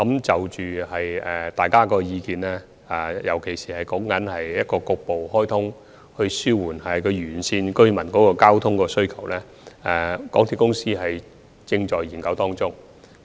就大家的意見，尤其是沙中線局部開通來紓緩沿線地區居民的交通需求，港鐵公司正在研究中。